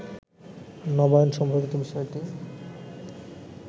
নবায়ন সম্পর্কিত বিষয়টি